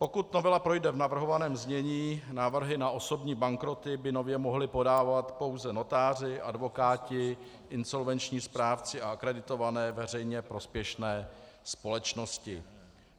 Pokud novela projde v navrhovaném znění, návrhy na osobní bankroty by nově mohli podávat pouze notáři, advokáti, insolvenční správci a akreditované veřejně prospěšné společnosti.